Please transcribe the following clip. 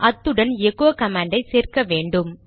அத்துடன் எகோ கமாண்டை சேர்க்க வேண்டும்